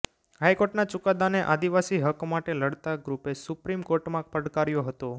હાઇકોર્ટના ચુકાદાને આદિવાસી હક માટે લડતા ગ્રુપે સુપ્રીમ કોર્ટમાં પડકાર્યો હતો